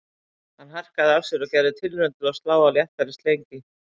Hann harkaði af sér og gerði tilraun til að slá á léttari strengi